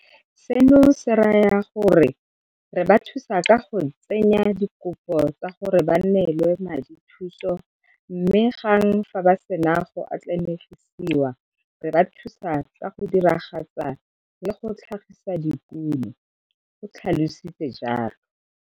"Seno se raya gore re ba thusa ka go tsenya dikopo tsa gore ba neelwe madithuso mme gang fa ba sena go atlene gisiwa, re ba thusa ka go diragatsa le go tlhagisa dikuno," o tlha lositse jalo.